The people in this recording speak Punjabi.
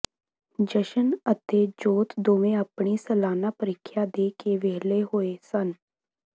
ਜਸ਼ਨ ਅਤੇ ਜੋਤ ਦੋਵੇਂ ਆਪਣੀ ਸਾਲਾਨਾ ਪ੍ਰੀਖਿਆ ਦੇ ਕੇ ਵਿਹਲੇ ਹੋਏ ਸਨ